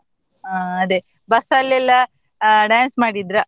ಹಾ ಅದೇ, bus ಅಲ್ಲೆಲ್ಲ ಆ dance ಮಾಡಿದ್ರ?